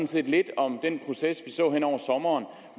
set lidt om den proces vi så hen over sommeren